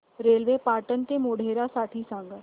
railway Patan ते मोढेरा साठी सांगा